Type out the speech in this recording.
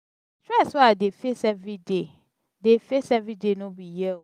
di stress wey i dey face everyday dey face everyday no be hear o.